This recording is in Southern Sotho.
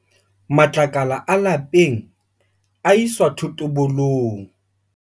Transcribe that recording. Matlakala a lapeng a iswa thotobolong.